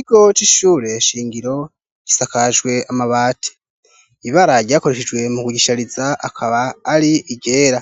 Ikigo c'ishure shingiro gisakajwe amabati. Ibara ryakoreshejwe mu kugishariza akaba ari iryera.